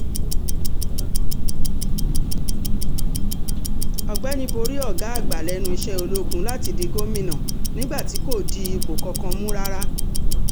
ọ̀gbẹ́ni borí ọ̀gá àgbà lẹ́nu iṣẹ́ ológun láti di gómìnà nígbà tí kò di ipò kankan mú rárá